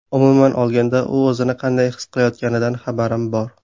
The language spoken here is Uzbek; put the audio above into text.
Umuman olganda, u o‘zini qanday his qilayotganidan xabarim bor.